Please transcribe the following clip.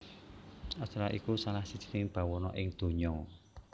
Australia iku salah sijining bawana ing donya